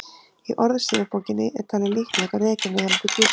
í orðsifjabókinni er talið líklegt að rekja megi hana til grísku